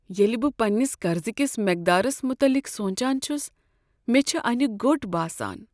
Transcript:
ییٚلہ بہٕ پننس قرضکس مقدارس متعلق سوچان چھس، مےٚ چھےٚ انیہ گوٚٹ باسان۔